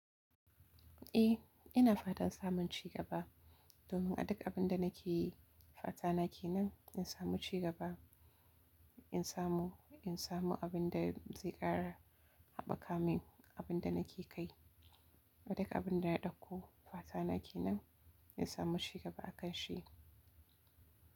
Eh, ina fatan samun ci gaba domin a duk abin da nake yi, fata na ke nan in samu ci gaba, in samu, in samu abin da zai ƙara haɓaka min abin da nake kai. A duk abin da na ɗauko fata na ke nan in samu ci gaba a kan shi.